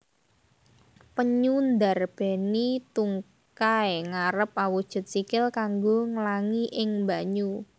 Penyu ndarbèni tungkai ngarep awujud sikil kanggo nglangi ing banyu